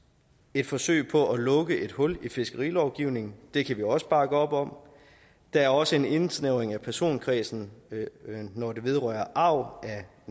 et forsøg på at lukke et hul i fiskerilovgivningen det kan vi også bakke op om der er også en indsnævring af personkredsen når det vedrører arv